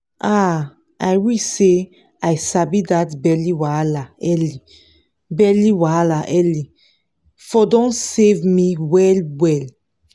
ah i wish say i sabi that belly wahala early belly wahala early for don save me well well